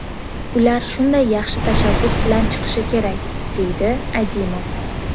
Ular shunday yaxshi tashabbus bilan chiqishi kerak”, deydi Azimov.